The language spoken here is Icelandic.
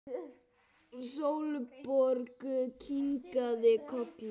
Sólborg kinkaði kolli.